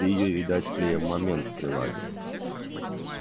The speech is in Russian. ты её видать клеем момент приладил